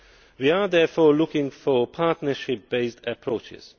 We are therefore looking for partnership based approaches